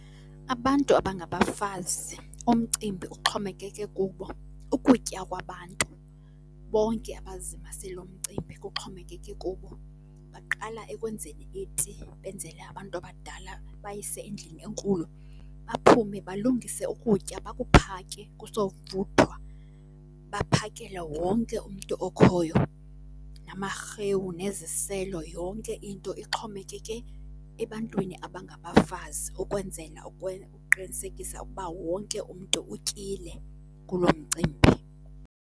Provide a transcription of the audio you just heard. Abantu abangabafazi umcimbi uxhomekeke kubo. Ukutya kwabantu bonke abazimase loo mcimbi kuxhomekeke kubo. Baqala ekwenzeni iti benzele abantu abadala bayise endlini enkulu, baphume balungise ukutya bakuphake kusovuthwa baphakele wonke umntu okhoyo, namarhewu neziselo. Yonke into ixhomekeke ebantwini abangabafazi ukwenzela uqinisekisa ukuba wonke umntu utyile kuloo mcimbi.